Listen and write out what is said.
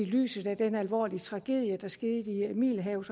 i lyset af den alvorlige tragedie der skete i middelhavet